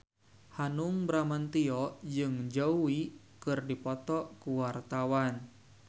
Hanung Bramantyo jeung Zhao Wei keur dipoto ku wartawan